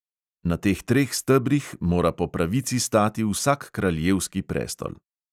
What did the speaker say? Na teh treh stebrih mora po pravici stati vsak kraljevski prestol.